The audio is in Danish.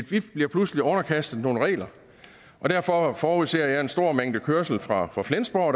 vi bliver pludselig underkastet nogle regler derfor forudser jeg en stor mængde kørsel fra fra flensborg